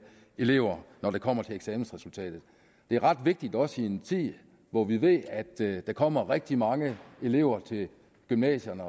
elever når det kommer til eksamensresultatet det er ret vigtigt også i en tid hvor vi ved at der kommer rigtig mange elever til gymnasierne